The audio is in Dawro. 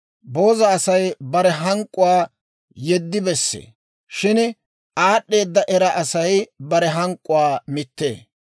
Booza Asay bare hank'k'uwaa yeddi bessee; shin aad'd'eeda era Asay bare hank'k'uwaa mittee.